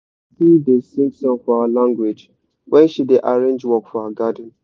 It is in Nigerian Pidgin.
my aunty da sing for our language wen she da arrange work for her garden